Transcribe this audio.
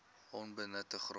onbenutte grond